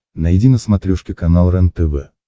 найди на смотрешке канал рентв